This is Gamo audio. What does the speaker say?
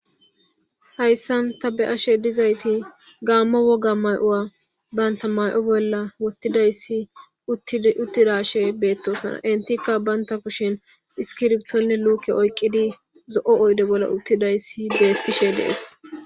Hayssan ta be7ashe dizayti gaammo woga may7o banta may7o bolla wottidayssi uttiraashe beettosana. Entikka bantta kushen iskiribtonne luuke oyqqidi zo7o oyde bolla uttidayssi beettishe dees.